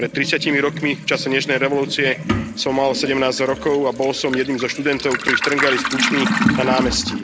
Pred tridsiatimi rokmi, v čase Nežnej revolúcie, som mal sedemnásť rokov a bol som jedným zo študentov, ktorí štrngali s kľúčmi na námestí.